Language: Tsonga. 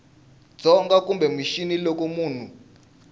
dzonga kumbe mixini loko munhu